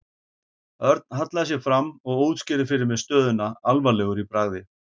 Örn hallaði sér fram og útskýrði fyrir mér stöðuna alvarlegur í bragði.